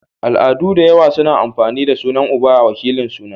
Al'adu dayawa na amfani da sunan uba a wakilin suna